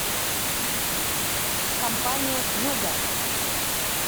компания хьюго